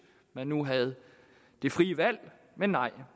man nu havde det frie valg men nej